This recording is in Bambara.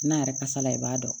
N'a yɛrɛ kasa la i b'a dɔn